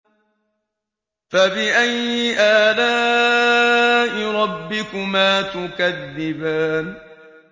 فَبِأَيِّ آلَاءِ رَبِّكُمَا تُكَذِّبَانِ